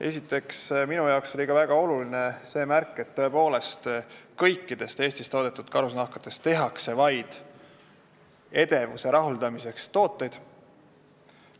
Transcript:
Esiteks, minu arvates oli väga oluline see märk, et kõikidest Eestis toodetud karusnahkadest tehakse vaid edevuse rahuldamiseks mõeldud tooteid.